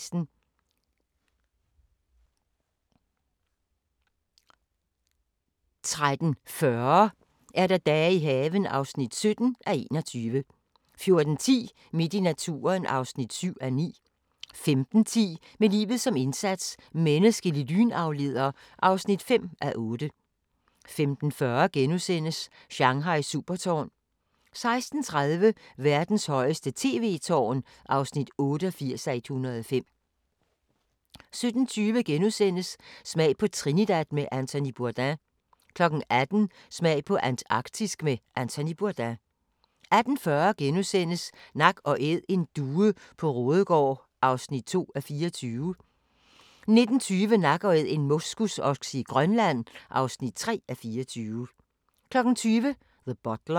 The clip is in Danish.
13:40: Dage i haven (17:21) 14:10: Midt i naturen (7:9) 15:10: Med livet som indsats - menneskelig lynafleder (5:8) 15:40: Shanghais supertårn * 16:30: Verdens højeste tv-tårn (88:105) 17:20: Smag på Trinidad med Anthony Bourdain * 18:00: Smag på Antarktisk med Anthony Bourdain 18:40: Nak & Æd: En due på Raadegaard (2:24)* 19:20: Nak & Æd - en moskusokse i Grønland (3:24) 20:00: The Butler